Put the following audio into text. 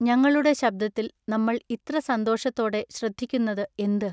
ഞങ്ങളുടെ ശബ്ദത്തിൽ നമ്മൾ ഇത്ര സന്തോഷത്തോടെ ശ്രദ്ധിക്കുന്നത എന്തു?